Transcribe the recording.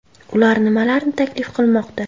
Ular nimalarni taklif qilmoqda?